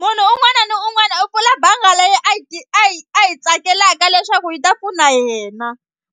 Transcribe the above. Munhu un'wana na un'wana u pfula banga leyi a yi a yi a yi tsakelaka leswaku yi ta pfuna yena